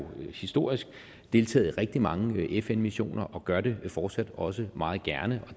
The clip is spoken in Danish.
historisk deltaget i rigtig mange fn missioner og gør det fortsat også meget gerne